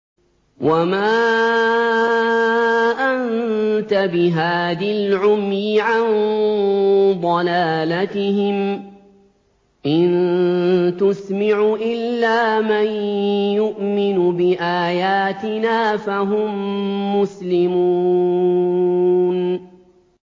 وَمَا أَنتَ بِهَادِ الْعُمْيِ عَن ضَلَالَتِهِمْ ۖ إِن تُسْمِعُ إِلَّا مَن يُؤْمِنُ بِآيَاتِنَا فَهُم مُّسْلِمُونَ